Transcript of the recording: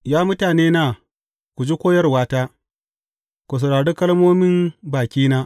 Ya mutanena, ku ji koyarwata; ku saurari kalmomin bakina.